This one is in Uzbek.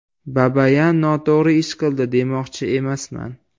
Babayan noto‘g‘ri ish qildi demoqchi emasman.